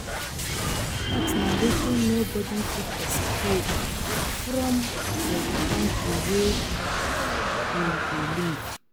Tax na wetin nobody fit escape from for di country wey im dey live